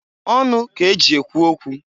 Ọnụ k'eji ekwu okwu.